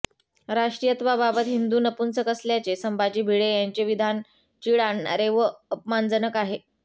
राष्ट्रीयत्वाबाबत हिंदू नपुंसक असल्याचे संभाजी भिडे यांचे विधान चीड आणणारे व अपमानजनक आहे